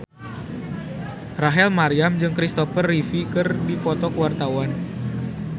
Rachel Maryam jeung Kristopher Reeve keur dipoto ku wartawan